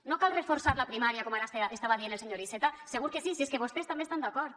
no cal reforçar la primària com ara estava dient el senyor iceta segur que sí si és que vostès també hi estan d’acord